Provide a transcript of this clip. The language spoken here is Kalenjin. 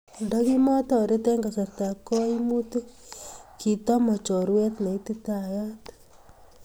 Andakimotoret eng kasartab kaimutiik kitimoi chorweet ne ititayaat.